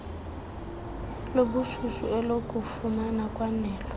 lobushushu elokufuma kwanelo